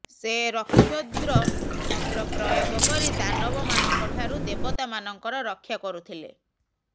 ସେ ରକ୍ଷୋଦ୍ର ମନ୍ତ୍ର ପ୍ରୟୋଗ କରି ଦାନବ ମାନଙ୍କ ଠାରୁ ଦେବତା ମାନଙ୍କର ରକ୍ଷା କରୁଥିଲେ